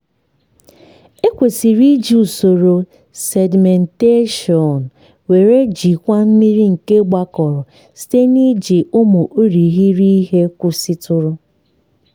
ekwesịrị iji usoro sedimentation wee jikwaa mmiri nke gbakọrọ site n’iji ụmụ irighiri ihe kwụsịtụrụ.